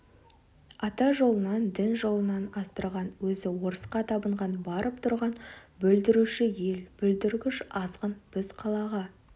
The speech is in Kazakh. ата жолынан дін жолынан аздырған өзі орысқа табынған барып тұрған бүлдіруші ел бүлдіргіш азғын біз қалаға